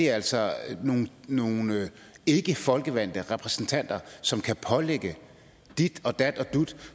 altså nogle ikkefolkevalgte repræsentanter som kan pålægge dit og dat og dut